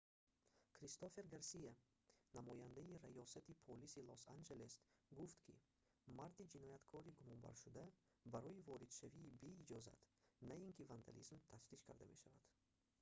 кристофер гарсия намояндаи раёсати полиси лос-анҷелес гуфт ки марди ҷинояткори гумонбаршуда барои воридшавии беиҷозат на ин ки вандализм тафтиш карда мешавад